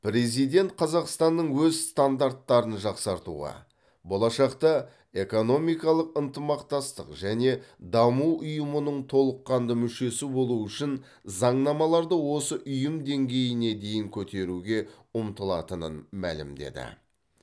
президент қазақстанның өз стандарттарын жақсартуға болашақта экономикалық ынтымақтастық және даму ұйымының толыққанды мүшесі болу үшін заңнамаларды осы ұйым деңгейіне дейін көтеруге ұмтылатынын мәлімдеді